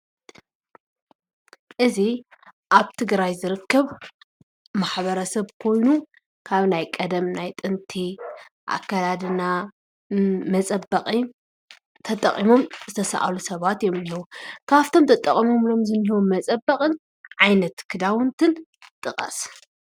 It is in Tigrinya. እዚ ኣብ ትግራይ ዝርክብ ማሕበረሰብ ኩሉ ካብ ናይ ቀደምናይ ጥንቲ ኣካዳድና መፀበቅን ተጠቅሞ ዘተሳኣሉ ሰበት እዮም እነአዉ። ካብቶምተጠቅሞምዎም ዘለዉ መፀበቅቲ ዓይነት ክዳዊነትን ጥቀሰ?